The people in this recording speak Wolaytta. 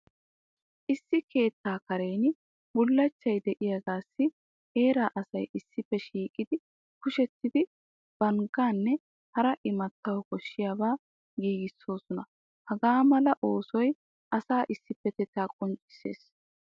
Issi keettaa karen bullachchay de'iyagaassi heeraa asay issippe shiiqi kushettidi banggaanne hara imattawu koshshiyabaa giigissoosona. Hagaa mala oosoy asaa issippetettaa qonccissees.